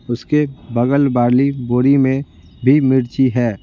उसके बगल वाली बोरी में भी मिर्ची है।